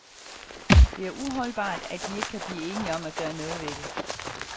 Det er uholdbart, at de ikke kan blive enige om at gøre noget ved det.